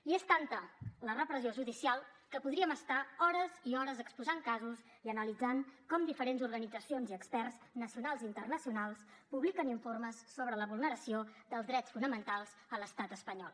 i és tanta la repressió judicial que podríem estar hores i hores exposant casos i analitzant com diferents organitzacions i experts nacionals i internacionals publiquen informes sobre la vulneració dels drets fonamentals a l’estat espanyol